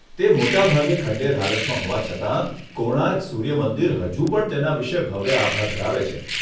તે મોટાભાગે ખંડેર હાલતમાં હોવા છતાં, કોણાર્ક સૂર્ય મંદિર હજુ પણ તેના વિશે ભવ્ય આભા ધરાવે છે.